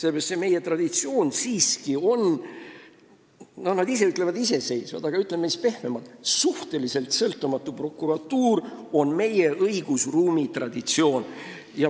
Nad ise ütlevad, et nad on iseseisvad, aga ütleme siis pehmemalt: suhteliselt sõltumatu prokuratuur on meie õigusruumis traditsioon.